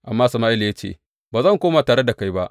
Amma Sama’ila ya ce, Ba zan koma tare da kai ba.